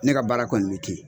Ne ka baara kɔni bɛ ten